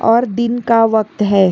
और दिन का वक्त है।